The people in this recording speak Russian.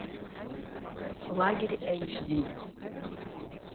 лагерь эйч ди